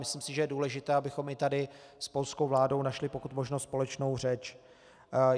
Myslím si, že je důležité, abychom i tady s polskou vládou našli pokud možno společnou řeč.